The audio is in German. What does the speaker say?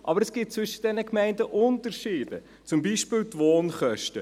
Aber zwischen diesen Gemeinden gibt es Unterschiede, zum Beispiel die Wohnkosten.